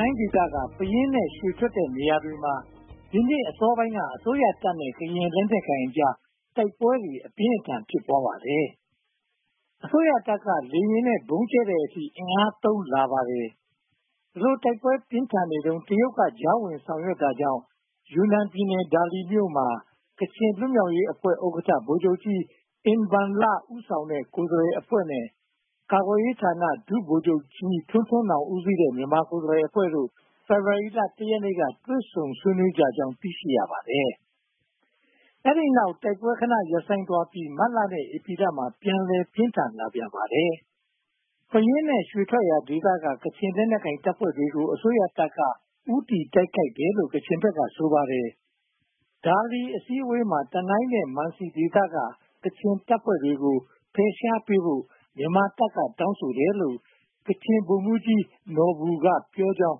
ိုင်းဒေသ၊ ပယင်းနဲ့ ရွှေထွက်တဲ့နေရာတွေမှာ ဒီနှစ်အစောပိုင်းက အစိုးရတပ်နဲ့ ကချင်လက်နက်ကိုင်တွေအကြား တိုက်ပွဲတွေ အပြင်းအထန် ဖြစ်ပွားပါတယ်။ အစိုးရတပ်က လေယာဉ်နဲ့ ဗုံးကျဲတဲ့အထိ အင်အားသုံးလာပါတယ်။ ဒီလို တိုက်ပွဲတွေပြင်းထန်နေတုန်း တရုတ်က ကြားဝင်ဖြေရှင်းတာကြောင့် ယူနန်ပြည်နယ် ဒါလီမြို့မှာ ကချင်လွတ်မြောက်ရေးအဖွဲ့ ဥက္ကဋ္ဌ ဗိုလ်ချုပ်ကြီးအင်ဘန်လ ဦးဆောင်တဲ့ ကိုယ်စားလှယ်အဖွဲ့နဲ့ ကာကွယ်ရေးဝန်ကြီးဌာန ဒုဗိုလ်ချုပ်ကြီးထွန်းထွန်းနောင် ဦးဆောင်တဲ့ မြန်မာကိုယ်စားလှယ်အဖွဲ့တို့ ဖေဖေါ်ဝါရီလ (၁) ရက်နေ့က တွေ့ဆုံဆွေးနွေးကြကြောင်း သိရှိရပါတယ်။ အဲဒီနောက် တိုက်ပွဲတွေ ခဏရပ်ဆိုင်းသွားပြီး မတ်လနဲ့ ဧပြီလမှာ ပြန်လည်ပြင်းထန်လာပြန်ပါတယ်။ ပယင်းနဲ့ ရွှေထွက်ရာဒေသက ကချင်လက်နက်ကိုင်တပ်ဖွဲ့တွေကို အစိုးရက ဦးတည်တိုက်ခိုက်တယ်လို့ ကချင်ဘက်က ဆိုပါတယ်။ ဒါလီအစည်းအဝေးမှာ တနိုင်းနဲ့ မန်စီဒေသက ကချင်တပ်ဖွဲ့တွေကို ဖယ်ရှားပေးဖို့ မြန်မာတပ်က တောင်းဆိုတယ်လို့ ကချင်ဗိုလ်မှူးကြီးနော်ဘူကပြောကြောင်း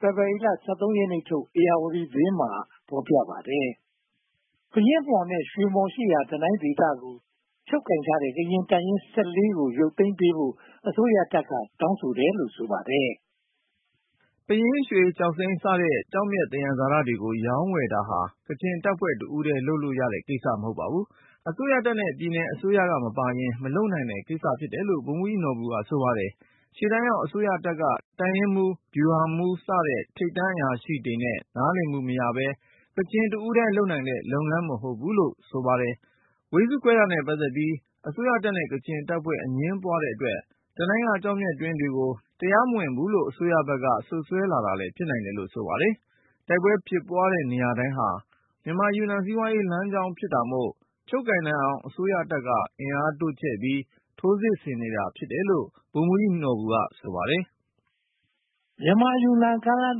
ဖေဖေါ်ဝါရီလ (၁၃) ရက်နေ့ထုတ် ဧရာဝတီသတင်းမှာ ဖော်ပြပါတယ်။ ပယင်းမှော်နဲ့ ရွှေမှော်ရှိရာ တနိုင်ဒေသကို ချုပ်ကိုင်ထားတဲ့ ကချင်တပ်ရင်း (၁၄) ခုကို ရုတ်သိမ်းပေးဖို့ အစိုးရက တောင်းဆိုတယ်လို့ ဆိုပါတယ်။ ပယင်း၊ ရွှေ၊ ကျောက်စိမ်းစတဲ့ ကျောက်မျက်သယံဇာတတွေကို ရောင်းဝယ်တာဟာ ကချင်တပ်ဖွဲ့ တဦးတည်းလုပ်လို့ရတဲ့ ကိစ္စ မဟုတ်ပါဘူး။ အစိုးရတပ်နဲ့ ပြည်နယ်အစိုးရမပါရင် မလုပ်နိုင်တဲ့ကိစ္စ ဖြစ်တယ်လို့ ဗိုလ်မှူးကြီးနော်ဘူးက ဆိုပါတယ်။ ရှေ့တန်းရောက် အစိုးရတပ်က တပ်ရင်းမှူး၊ ဗျူဟာမှူး စတဲ့ ထိပ်တန်းအရာရှိတွေနဲ့ နားလည်မှုမရဘဲ၊ ကချင်တဦးတည်း လုပ်နိုင်တဲ့ လုပ်ငန်းမဟုတ်ဘူးလို့ ဆိုပါတယ်။ ဝေစုခွဲတာနဲ့ ပတ်သက်ပြီး အစိုးရတပ်နဲ့ ကချင်တပ်ဖွဲ့ အငြင်းပွားတဲ့အတွက် တနိုင်းက ကျောက်မျက်တွင်းတွေကို တရားမဝင်တော့ဘူးလို့ အစိုးရတပ်ဘက်က စွပ်စွဲလာတာလည်း ဖြစ်နိုင်တယ်လို့ ဆိုလိုပါတယ်။ တိုက်ပွဲဖြစ်ပွားတဲ့ နေရာတိုင်းဟာ မြန်မာ-ယူနန် စီးပွားရေးလမ်းကြောင်း ဖြစ်နေတာမို့ ချုပ်ကိုင်နိုင်အောင် အစိုးရတပ်က အင်အားတိုးချဲ့ပြီး ထိုးစစ်နေတာ ဖြစ်တယ်လို့ ဗိုလ်မှူးကြီးနော်ဘူက ဆိုပါတယ်။ မြန်မာ-ယူနန် ကားလမ်း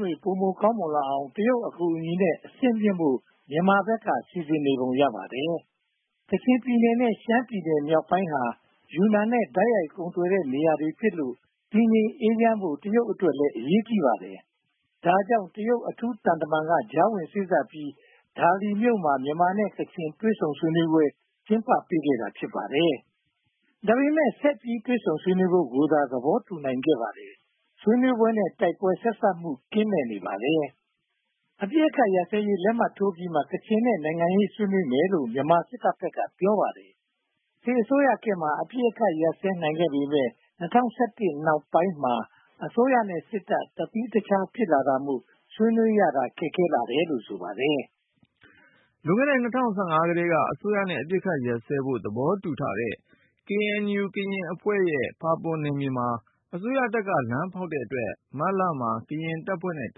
တွေ ပိုမိုကောင်းမွန်လာအောင် တရုတ်အကူအညီနဲ့ အဆင့်မြင့်ဖို့ မြန်မာဘက်က စီစဉ်နေပုံရပါတယ်။ ကချင်ပြည်နယ်နဲ့ ရှမ်းပြည်နယ်မြောက်ပိုင်းဟာ ယူနန်နဲ့ တိုက်ရိုက်ကုန်သွယ်တဲ့နေရာတွေဖြစ်လို့ တည်ငြိမ်အေးချမ်းဖို့ တရုတ်အတွက်လည်း အရေးကြီးပါတယ်။ ဒါကြောင့် တရုတ်အထူးသံတမန်က ကြားဝင်စေ့စပ်ပြီး ဒါလီမြို့မှာ မြန်မာ-ကချင် တွေ့ဆုံပွဲ ကျင်းပပေးခဲ့တာ ဖြစ်ပါတယ်။ ဒါပေမဲ့ ဆက်ပြီးတွေ့ဆုံဆွေးနွေးဖို့သာ သဘောတူနိုင်ခဲ့ပါတယ်။ ဆွေးနွေးပွဲနဲ့ တိုက်ပွဲဆက်စပ်မှု ကင်းမဲ့နေပါတယ်။ အပစ်အခတ် ရပ်စဲရေး လက်မှတ်ထိုးပြီးမှ ကချင်နဲ့ နိုင်ငံရေး ဆွေးနွေးမယ်လို့ မြန်မာစစ်တပ်ဘက်က ပြောပါတယ်။ စစ်အစိုးရခေတ်မှာ အပစ်အခတ် ရပ်စဲနိုင်ခဲ့ပေမယ့် ၂၀၁၁ နောက်ပိုင်းမှာ အစိုးရနဲ့စစ်တပ် တသီးတခြား ဖြစ်လာတာမို့ ဆွေးနွေးရတာ ခက်ခဲ့လာတယ်လို့ ဆိုပါတယ်။ လွန်ခဲ့တဲ့ ၂၀၁၅ ကတည်းက အစိုးရနဲ့ အပစ်အခတ်ရပ်စဲဖို့ သဘောတူထားတဲ့ KNU ကရင်အဖွဲ့ရဲ့ ဖာပွန်နယ်မြေမှာ အစိုးရတပ်က လမ်းဖောက်တဲ့အတွက် မတ်လမှာ ကရင်တပ်ဖွဲ့နဲ့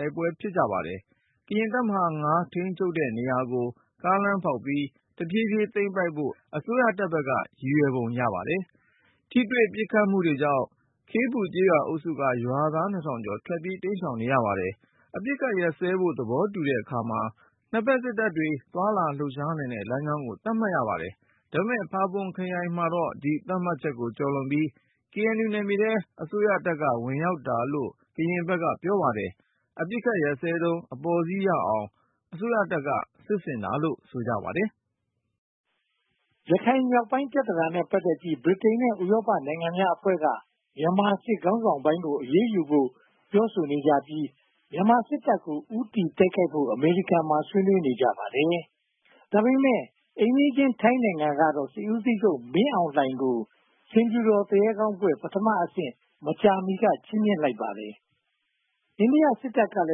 တိုက်ပွဲတွေ ဖြစ်ကြပါတယ်။ ကရင်တပ်မဟာ (၅) ထိန်းချုပ်တဲ့နေရာကို ကားလမ်းဖောက်ပြီး တဖြည်းဖြည်းသိမ်းပိုက်ဖို့ အစိုးရတပ်ဘက်က ရည်ရွယ်ပုံရပါတယ်။ ထိတွေ့ပစ်ခတ်မှုတွေကြောင့် ခေးပူကျေးရွာအုပ်စုက ရွာသား နှစ်ထောင်ကျော် ထွက်ပြေးတိမ်ရှောင်နေရပါတယ်။ အပစ်အခတ်ရပ်စဲဖို့ သဘောတူတဲ့အခါမှာ နှစ်ဘက်စစ်တပ်တွေ သွားလာလှုပ်ရှားနိုင်တဲ့လမ်းကြောင်းကို သတ်မှတ်ရပါတယ်။ ဒါပေမဲ့ ဖာပွန်ခရိုင်မှာတော့ ဒီသတ်မှတ်ချက်ကိုကျော်လွန်ပြီး KNU နယ်မြေထဲမှာ အစိုးရတပ်က ဝင်ရောက်တာလို့ ကရင်ဘက်က ပြောဆိုပါတယ်။ အပစ်အခတ်ရပ်စဲတုန်း အပေါ်စီးရအောင် အစိုးရတပ်က စစ်ဆင်တာလို့ ဆိုပါတယ်။ ရခိုင်မြောက်ပိုင်း ပြဿနာနဲ့ ပတ်သက်ပြီး ဗြိတိန်နဲ့ ဥရောပနိုင်ငံများအဖွဲ့က မြန်မာစစ်ခေါင်းဆောင်ပိုင်းကို အရေးယူဖို့ ပြောဆိုနေကြပြီး မြန်မာစစ်တပ်ကို ဦးတည်တိုက်ခိုက်ဖို့ အမေရိကန်မှာ ဆွေးနွေးနေကြပါတယ်။ ဒါပေမဲ့ အိမ်နီးချင်း ထိုင်းနိုင်ငံမှာတော့ စစ်ဦးချုပ် မင်းအောင်လှိုင်ကို ဆင်ဖြူတော်သူရဲကောင်းဘွဲ့ (ပထမအဆင့်) ကို မကြာမီက ချီမြှင့်လိုက်ပါတယ်။ အိန္ဒိယစစ်တပ်ကလ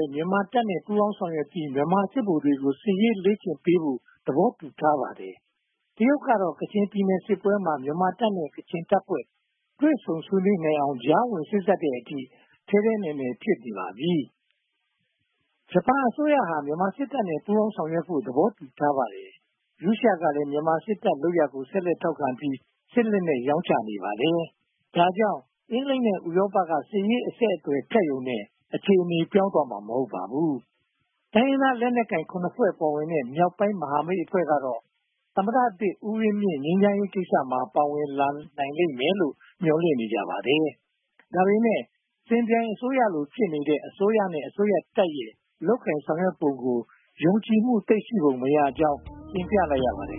ည်း မြန်မာတပ်နဲ့ ပူးပေါင်းဆောင်ရွက်ပြီး မြန်မာစစ်ဗိုလ်တွေကို စစ်ရေးလေ့ကျင့်ပေးဖို့ သဘောတူထားပါတယ်။ တရုတ်ကတော့ ကချင်ပြည်နယ်စစ်ပွဲမှာ မြန်မာတပ်နဲ့ ကချင်တပ်ဖွဲ့ တွေ့ဆုံဆွေးနွေးအောင် ကြားဝင်စေ့စပ်တဲ့အထိ မြန်မာ့ပြည်တွင်းရေးမှာ ထဲထဲဝင်ဝင် ဖြစ်နေပါပြီ။ ဂျပန်အစိုးရဟာ မြန်မာစစ်တပ်နဲ့ ပူးပေါင်းဆောင်ရွက်ဖို့ သဘောတူထားပါတယ်။ ရုရှားကလည်း မြန်မာစစ်တပ် လုပ်ရပ်ကို ဆက်လက်ထောက်ခံပြီး စစ်လက်နက် ရောင်းချနေပါတယ်။ ဒါကြောင့် အင်္ဂလိပ်နဲ့ ဥရောပက စစ်ရေးအဆက်အသွယ် ဖြတ်ရုံနဲ့ အခြေအနေ ပြောင်းသွားမှာ မဟုတ်ပါဘူး။ တိုင်းရင်းသား လက်နက်ကိုင် (၇)ဖွဲ့ပါတဲ့ မြောက်ပိုင်းမဟာမိတ်အဖွဲ့ကတော့ သမ္မတသစ်ဦးဝင်းမြင့် ငြိမ်းချမ်းရေးကိစ္စမှာ ပါဝင်လာနိုင်လိမ့်မယ်လို့ မျှော်လင့်နေကြပါတယ်။ ဒါပေမဲ့ စစ်ပြိုင်အစိုးရလို ဖြစ်နေတဲ့ အစိုးရနဲ့ စစ်တပ်တို့ရဲ့ လုပ်ကိုင်ဆောင်ရွက်နေပုံကို ယုံကြည်မှု သိပ်ရှိပုံမရကြောင်း တင်ပြလိုက်ရပါတယ်